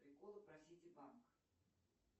приколы про сити банк